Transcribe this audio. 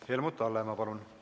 Helmut Hallemaa, palun!